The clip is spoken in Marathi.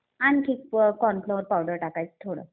आणखी कॉर्न फ्लोअर पावडर टाकायचं थोडं.